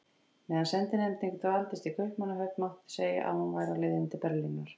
Meðan sendinefndin dvaldist í Kaupmannahöfn, mátti segja, að hún væri á leiðinni til Berlínar.